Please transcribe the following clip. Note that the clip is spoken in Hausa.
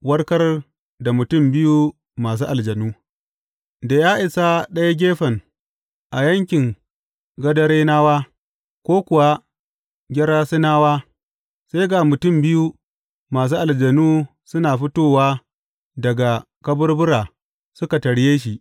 Warkar da mutum biyu masu aljanu Da ya isa ɗayan gefen a yankin Gadarenawa ko kuwa Gerasenawa, sai ga mutum biyu masu aljanu suna fitowa daga kaburbura suka tarye shi.